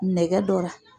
Nɛgɛ dɔ la